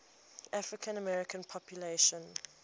african american population